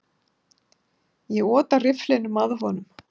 Ég otaði rifflinum að honum.